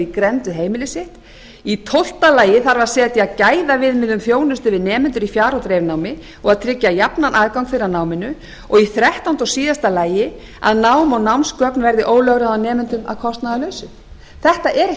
grennd við heimili sitt tólf setja þarf gæðaviðmiðun þjónustu við nemendur í fjar og dreifnámi og tryggja jafnan aðgang þeirra að náminu þrettán að nám og námsgögn verði ólögráða nemendum að kostnaðarlausu þetta er ekki